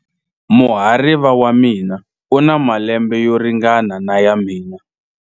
Muhariva wa mina u na malembe yo ringana na ya mina.